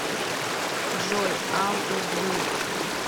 джой ауто блу